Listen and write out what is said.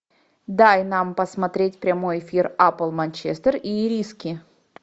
дай нам посмотреть прямой эфир апл манчестер и ириски